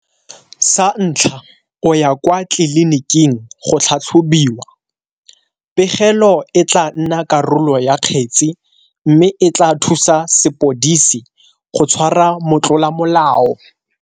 Sa ntlha, o ya kwa tliliniking go tlhatlhobiwa. Pegelo e tla nna karolo ya kgetse mme e tla thusa sepodisi go tshwara motlolamolao.